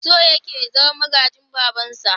So yake ya zama magajin babansa.